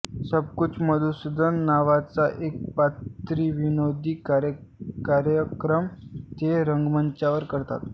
सबकुछ मधुसूदन नावाचा एकपात्री विनोदी कार्यक्रम ते रंगमंचावर करतात